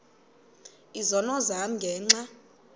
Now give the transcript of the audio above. izono zam ngenxa